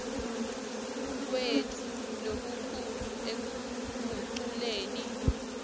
kwetfu lokukhulu ekuguculeni